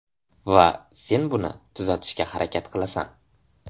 Va sen buni tuzatishga harakat qilasan.